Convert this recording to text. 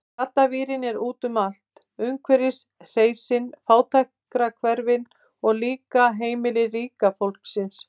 Gaddavírinn er úti um allt, umhverfis hreysin, fátækrahverfin, og líka heimili ríka fólksins.